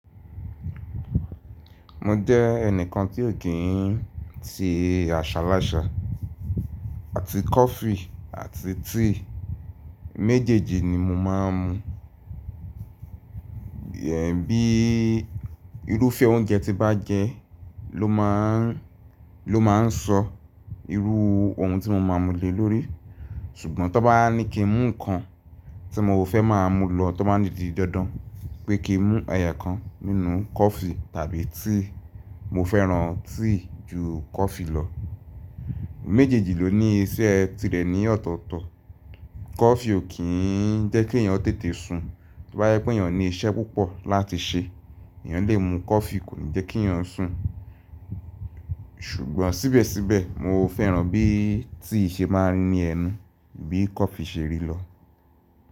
Mo jẹ́ ẹnìkan tí ò kí n ti àṣàláṣà àti kọ́fì àti tíì. Méjèèjì ni mo máa ń mu. Bí irúfẹ́ oúnjẹ tí bá jẹ ló máa n sọ irú ohun tí mo máa mú lé lórí. Ṣùgbọ́n tó bá ní kí n mu nǹkan tí mo ò fẹ́ máa mú lọ tó bá nídìí dandan pé kí n mu ẹyo kan nínú kọ́fì tàbí tíì, mo fẹ́ràn tíì ju kọ́fì lọ. Méjèèjì ló ní iṣẹ́ tirẹ̀ ní ọ̀tọ̀ọ̀tọ̀. Kọ́fì ò kí n jẹ́ kí ènìyàn tètè sun. Tó bá yẹ pé ènìyàn ní iṣẹ́ púpọ̀ láti ṣe, ènìyàn lè mu kọ́fì kò ní jẹ́ kí ènìyàn sùn. Ṣùgbọ́n síbẹ̀síbẹ̀ mo fẹ́ràn bí tíì ṣe máa ri ní ẹnu bí kọ́fì ṣe rí lọ.